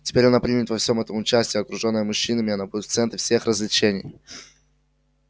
теперь она примет во всем этом участие окружённая мужчинами она будет в центре всех развлечений